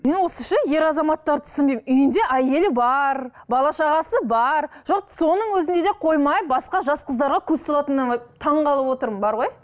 мен осы ше ер азаматтарды түсінбеймін үйінде әйелі бар бала шағасы бар жоқ соның өзінде де қоймай басқа жас қыздарға көз салатынына таңғалып отырмын бар ғой